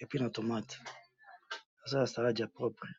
epuis na tomate, eza salad ya propre.